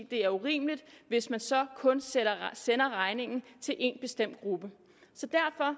det er urimeligt hvis man så kun sender sender regningen til én bestemt gruppe